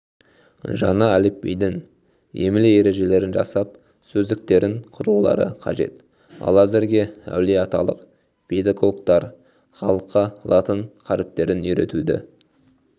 жаңа әліпбидің емле-ережелерін жасап сөздіктерін құрулары қажет ал әзірге әулиеаталық педагогтар халыққа латын қаріптерін үйретуді